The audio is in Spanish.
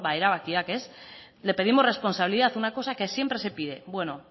erabakiak le pedimos responsabilidad una cosa que siempre se pide bueno